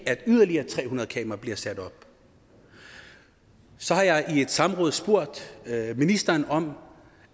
at yderligere tre hundrede kameraer bliver sat op så har jeg i et samråd spurgt ministeren om